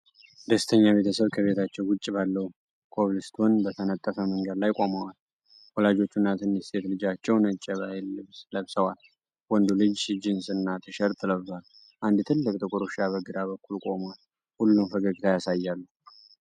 ደስተኛ ቤተሰብ ከቤታቸው ውጪ ባለው ኮብልስቶን በተነጠፈ መንገድ ላይ ቆመዋል። ወላጆቹና ትንሽ ሴት ልጃቸው ነጭ የባህል ልብስ ለብሰዋል፤ ወንዱ ልጅ ጂንስና ቲሸርት ለብሷል። አንድ ትልቅ ጥቁር ውሻ በግራ በኩል ቆሟል፤ ሁሉም ፈገግታ ያሳያሉ።